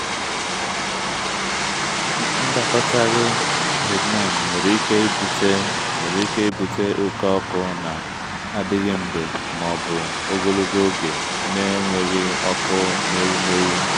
ndakọtaghị hormone nwere ike ibute nwere ike ibute oke ọkụ na-adịghị mgbe ma ọ bụ ogologo oge na-enweghị ọkụ n’ewumewụ.